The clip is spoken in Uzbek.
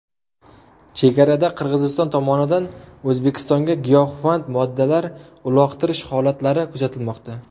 Chegarada Qirg‘iziston tomonidan O‘zbekistonga giyohvand moddalar uloqtirish holatlari kuzatilmoqda.